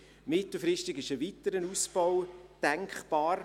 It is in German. Mittelfristig ist ein weiterer Ausbau denkbar.